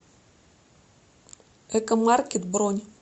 экомаркет бронь